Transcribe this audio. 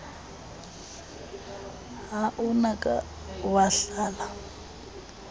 ha o ka wa hlala